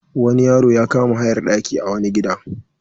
Wani yaro ya kama hayar ɗaki a wani gida.